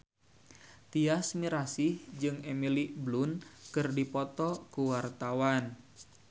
Tyas Mirasih jeung Emily Blunt keur dipoto ku wartawan